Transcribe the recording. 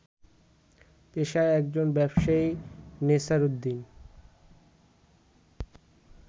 পেশায় একজন ব্যবসায়ী নেসার উদ্দিন